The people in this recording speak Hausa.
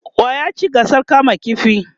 wa ya ci gasar kama ƙifi?